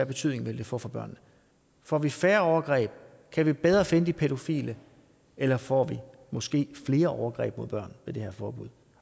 betydning det vil få for børnene får vi færre overgreb kan vi bedre finde de pædofile eller får vi måske flere overgreb mod børn ved det her forbud